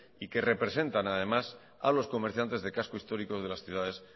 y que representan además a los comerciantes del casco histórico de las ciudades